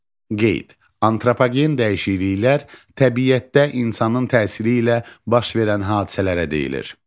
Qeyd: Antropogen dəyişikliklər təbiətdə insanın təsiri ilə baş verən hadisələrə deyilir.